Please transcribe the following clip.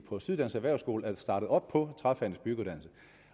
på syddansk erhvervsskole er startet op på træfagenes byggeuddannelse